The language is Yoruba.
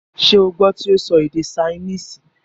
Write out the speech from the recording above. ṣé o gbọ́ tí ó sọ èdè saínìsì,?